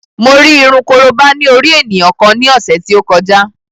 Mo rí irun korobá ní orí ènìyàn kan ní ọ̀sẹ̀ tí ó kọjá